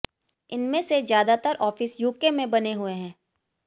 इनमें से ज्यादातर ऑफिस यूके में बने हुए है